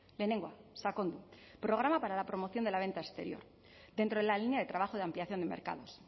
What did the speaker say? lehenengoa sakondu programa para la promoción de la venta exterior dentro de la línea de trabajo de ampliación de mercados